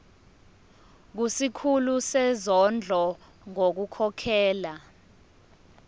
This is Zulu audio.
kusikhulu sezondlo ngokukhokhela